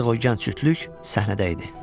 Artıq o gənc cütlük səhnədə idi.